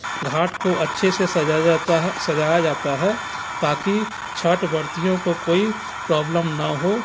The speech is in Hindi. घाट को अच्छे से सजाया जाता सजाया जाता है ताकि छट वर्तियो को कोई प्रोब्लम ना हो।